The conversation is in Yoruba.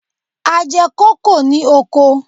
A jẹ kókò ní oko.